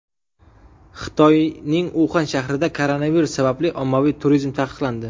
Xitoyning Uxan shahrida koronavirus sababli ommaviy turizm taqiqlandi.